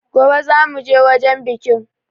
Gobe zan mu je wajan bikin.